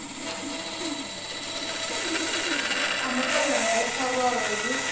a muṱangano wo farwaho hu